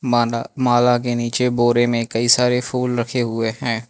माना माला के नीचे बोरे में कई सारे फूल रखे हुए हैं।